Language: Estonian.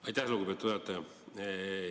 Aitäh, lugupeetud juhataja!